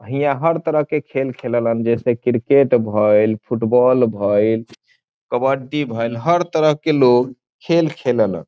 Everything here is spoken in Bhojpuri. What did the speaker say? हिया हर तरह के खेल खेललन जैसे क्रिकेट भइल फुटबॉल भइल कबड्डी भईल हर तरह के लोग खेल खेललन।